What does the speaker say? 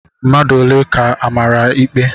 Mmadụ ole ka amara ikpe?